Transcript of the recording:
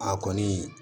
A kɔni